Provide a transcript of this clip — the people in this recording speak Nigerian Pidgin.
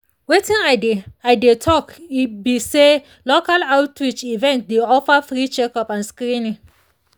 wetin i dey i dey talk e be say local outreach events dey offer free checkup and screening